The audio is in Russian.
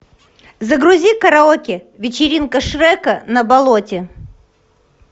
загрузи караоке вечеринка шрека на болоте